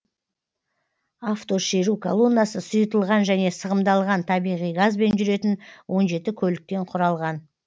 автошеру колоннасы сұйытылған және сығымдалған табиғи газбен жүретін он жеті көліктен құралған